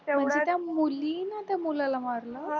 म्हणजे त्या मुलीने त्या मुलाला मारलं त्या